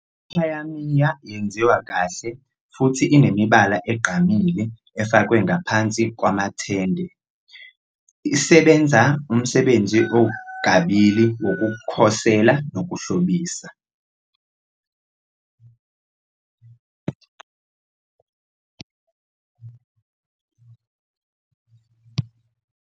I-Khayamiya yenziwa kahle futhi inemibala egqamile efakwe ngaphakathi kwamatende, isebenza umsebenzi okabili wokukhosela nokuhlobisa.